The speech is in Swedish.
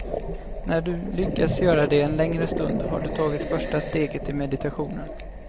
När du lyckas göra det en längre stund har du tagit första steget i meditationen.